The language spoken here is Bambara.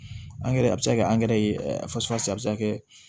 Angɛrɛ a bɛ se ka kɛ angɛrɛ ye a bɛ se ka kɛ